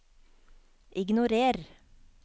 ignorer